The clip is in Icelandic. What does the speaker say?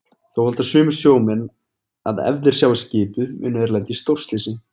Þá halda sumir sjómenn að ef þeir sjái skipið muni þeir lenda í stórslysi.